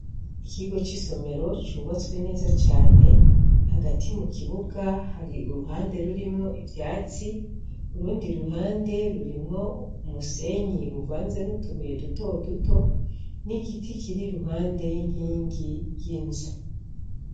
Ikigo c'isomero cubatswe neza cane, hagati mu kibuga hari uruhande rurimwo ivyatsi, urundi ruhande rurimwo umusenyi uvanze n'utubuye duto duto, n'igiti kiri iruhande y'inkingi y'inzu.